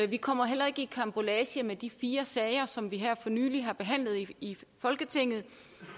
vi kommer heller ikke i karambolage med de fire sager som vi for nylig har behandlet i folketinget